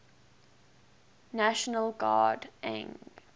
national guard ang